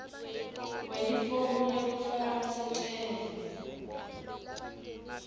kwelifomu lekufaka sicelo